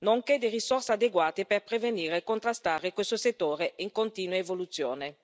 nonché risorse adeguate per prevenire e contrastare questo settore in continua evoluzione.